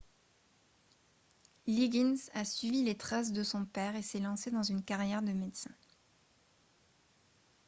liggins a suivi les traces de son père et s'est lancé dans une carrière de médecin